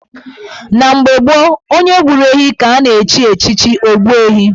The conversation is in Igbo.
Na mgbe gboo, onye gburu ehi ka a na-echi echichi Ogbuehi